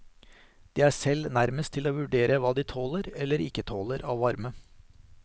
De er selv nærmest til å vurdere hva de tåler eller ikke tåler av varme.